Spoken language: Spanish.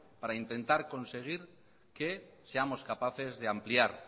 para intentar conseguir que seamos capaces de ampliar